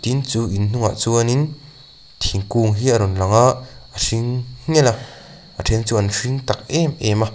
chu in hnungah chuanin thingkung hi a rawn lang a a hring nghelh a a then chu an hring tak em em a.